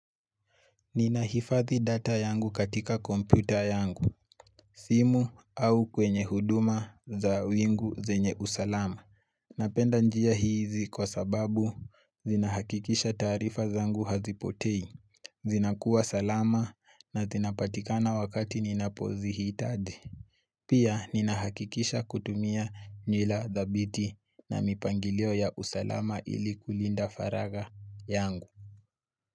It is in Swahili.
Ninahifadhi data yangu katika kompyuta yangu, simu au kwenye huduma za wingu zenye usalama. Napenda njia hizi kwa sababu zinahakikisha taarifa zangu hazipotei, zinakuwa salama na zinapatikana wakati ninapozihitadi. Pia ninahakikisha kutumia nywila thabiti na mipangilio ya usalama ili kulinda faragha yangu.